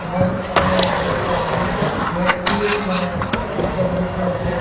এবং এখানের মধ্যে একটা রেডক্লিফ মানে একটা জিনিস রয়েছে।